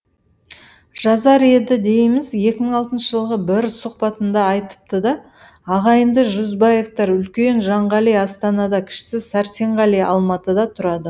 жазар еді дейміз екі мың алтыншы жылғы бір сұхбатында айтыпты да ағайынды жүзбаевтар үлкені жанғали астанада кішісі сәрсенғали алматыда тұрады